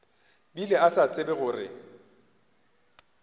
bile a sa tsebe gore